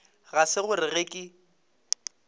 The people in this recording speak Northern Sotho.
ga se gore ge ke